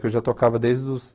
Que eu já tocava desde os...